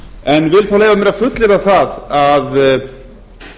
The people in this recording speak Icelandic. en vil þó leyfa mér að fullyrða að